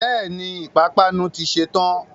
Bẹ́ẹ̀ni, pápánu ti ṣe tán